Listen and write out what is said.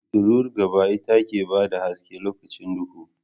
Fitular gaba ita ke bada haske lokacin duhu